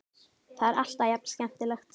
Það er alltaf jafn skemmtilegt.